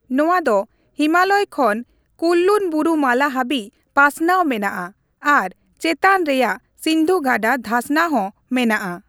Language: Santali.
ᱱᱚᱣᱟ ᱫᱚ ᱦᱤᱢᱟᱞᱚᱭ ᱠᱷᱚᱱ ᱠᱩᱱᱞᱩᱱ ᱵᱩᱨᱩ ᱢᱟᱞᱟ ᱦᱟᱹᱵᱤᱡ ᱯᱟᱥᱱᱟᱣ ᱢᱮᱱᱟᱜᱼᱟ ᱟᱨ ᱪᱮᱛᱟᱱ ᱨᱮᱭᱟᱜ ᱥᱤᱱᱫᱷᱩ ᱜᱟᱰᱟ ᱫᱷᱟᱥᱱᱟ ᱦᱚᱸ ᱢᱮᱱᱟᱜᱼᱟ ᱾